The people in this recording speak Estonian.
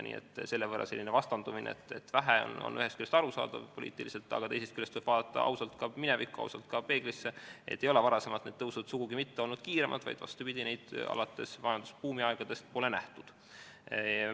Nii et selline vastandumine, et seda on vähe, on ühest küljest poliitiliselt arusaadav, aga teisest küljest võiks ausalt vaadata minevikku, vaadata ka peeglisse: ei ole varem need tõusud olnud sugugi mitte kiiremad, vastupidi, neid pole alates majandusbuumi aegadest nähtudki.